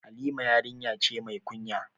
Halima yarinya ce mai kunya